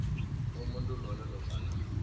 umuntu loyo nofana